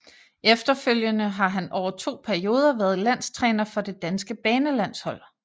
Efterfølgende har han over to perioder været landstræner for det danske banelandshold